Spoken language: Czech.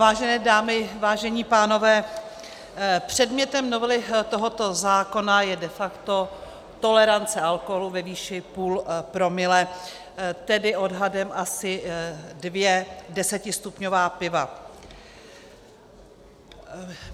Vážené dámy, vážení pánové, předmětem novely tohoto zákona je de facto tolerance alkoholu ve výši půl promile, tedy odhadem asi dvě desetistupňová piva.